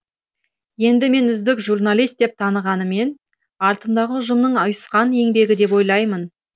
енді мені үздік журналист деп танығанымен артымдағы ұжымның ұйысқан еңбегі деп ойлаймын